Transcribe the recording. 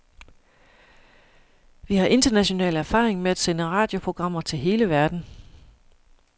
Vi har international erfaring med at sende radioprogrammer til hele verden.